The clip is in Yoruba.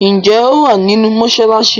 ǹjẹ́ ó wà nínú “ mọsálásí”?